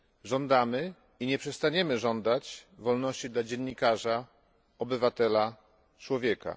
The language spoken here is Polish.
Żądamy i nie przestaniemy żądać wolności dla dziennikarza, obywatela, człowieka.